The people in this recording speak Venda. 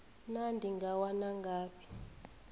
naa ndi nga wana ngafhi